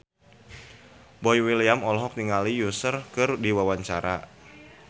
Boy William olohok ningali Usher keur diwawancara